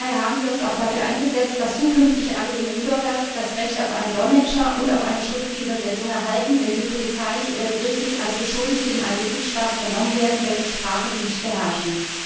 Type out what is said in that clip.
Daher haben wir uns auch dafür eingesetzt, dass zukünftig alle EU Bürger das Recht auf einen Dolmetscher und auf eine schriftliche Übersetzung erhalten, wenn sie polizeilich oder gerichtlich als Beschuldigte in einem Mitgliedstaat vernommen werden, dessen Sprache sie nicht beherrschen.